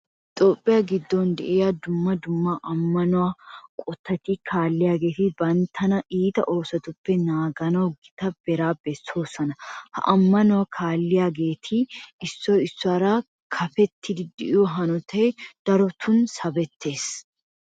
Toophphiya giddon de'iya dumma dumma ammanuwa eqotati kaalliyageeti banttana iita oosotuppe naaganawu gita beeraa bessoosona. Ha ammanuwa kaalliyageeti issoy issuwara kaafettidi de'iyo hanotay darotun sabettees.